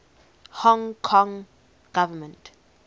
hong kong government